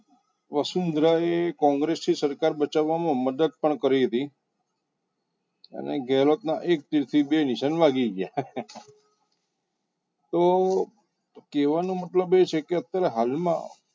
વસુંધરા એ કોંગ્રેસની સરકાર બચાવવામાં મદદ પણ કરી હતી અને ગેલતના એક તીરથી બે નિશાન વાગી ગયા તો કહેવાનો મતલબ એ છે કે અત્યારે હાલમાં